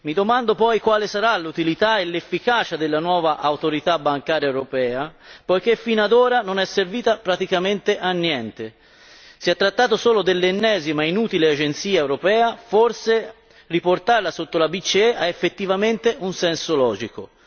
Mi domando poi quale sarà l'utilità e l'efficacia della nuova Autorità bancaria europea poiché fino ad ora non è servita praticamente a niente. Si è trattato solo dell'ennesima e inutile agenzia europea, forse riportarla sotto la BCE ha effettivamente un senso logico.